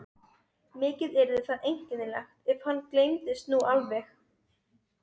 Mikið yrði það einkennilegt, ef hann gleymdist nú alveg.